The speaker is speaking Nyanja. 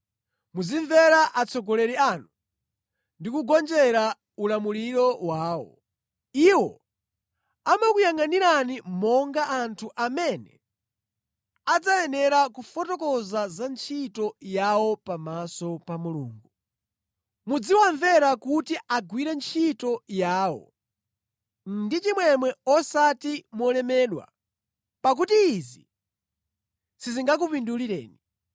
Muzimvera atsogoleri anu ndi kugonjera ulamuliro wawo, iwo amakuyangʼanirani monga anthu amene adzayenera kufotokoza za ntchito yawo pamaso pa Mulungu. Muziwamvera kuti agwire ntchito yawo ndi chimwemwe osati molemedwa pakuti izi sizingakupindulireni.